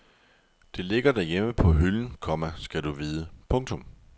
Det ligger derhjemme på hylden, komma skal du vide. punktum